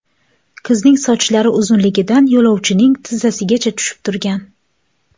Qizning sochlari uzunligidan yo‘lovchining tizzasigacha tushib turgan.